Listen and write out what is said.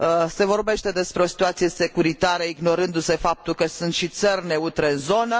Se vorbește despre o situație securitară, ignorându se faptul că sunt și țări neutre în zonă.